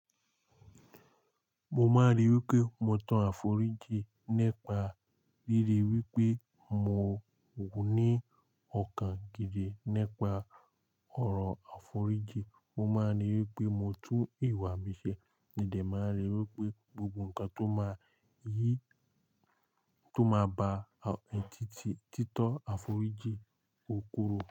Mo máa rí wí pé mo toro àforíjì nipa ríri wípé mo ní ọ̀kàn gidi nipa ọ̀rọ̀ àforíjì. Mo máa n rí wípé mo tún ìwà mi ṣe. Mi dé máa rí i wípé gbogbo ǹkan tó máa yìí, tó máa ba títí títọ́ àforíjì ó koro.